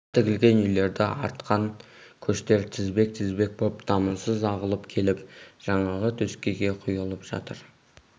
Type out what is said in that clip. асқа тігілген үйлерді артқан көштер тізбек-тізбек боп дамылсыз ағылып келіп жаңағы төскейге құйылып жатыр